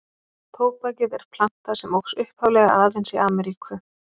Tóbakið er planta sem óx upphaflega aðeins í Ameríku.